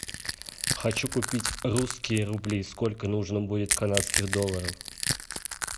хочу купить русские рубли сколько нужно будет канадских долларов